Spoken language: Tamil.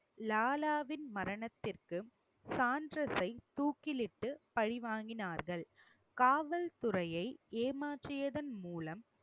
லாலாவின் மரணத்திற்கு சாண்டர்சை தூக்கிலிட்டு பழி வாங்கினார்கள் காவல்துறையை ஏமாற்றியதன் மூலம்